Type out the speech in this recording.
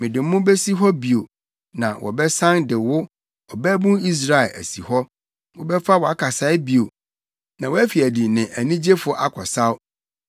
Mede mo besi hɔ bio na wɔbɛsan de wo, Ɔbabun Israel, asi hɔ. Wobɛfa wʼakasae bio na woafi adi ne anigyefo akɔsaw.